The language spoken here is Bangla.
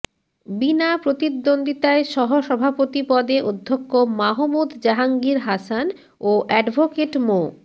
বিনা প্রতিদ্বন্দ্বিতায় সহসভাপতি পদে অধ্যক্ষ মাহমুদ জাহাঙ্গীর হাসান ও অ্যাডভোকেট মো